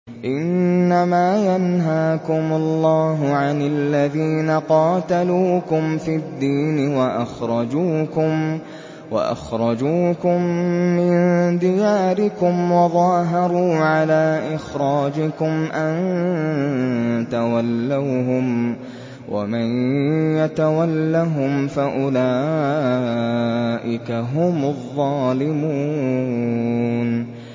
إِنَّمَا يَنْهَاكُمُ اللَّهُ عَنِ الَّذِينَ قَاتَلُوكُمْ فِي الدِّينِ وَأَخْرَجُوكُم مِّن دِيَارِكُمْ وَظَاهَرُوا عَلَىٰ إِخْرَاجِكُمْ أَن تَوَلَّوْهُمْ ۚ وَمَن يَتَوَلَّهُمْ فَأُولَٰئِكَ هُمُ الظَّالِمُونَ